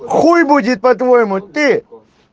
хуй будет по-твоему ты